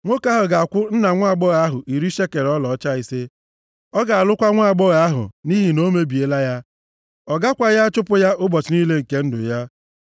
nwoke ahụ ga-akwụ nna nwaagbọghọ ahụ iri shekel ọlaọcha ise. Ọ ga-alụkwa nwaagbọghọ ahụ nʼihi na o mebiela ya. Ọ gakwaghị achụpụ ya ụbọchị niile nke ndụ ya.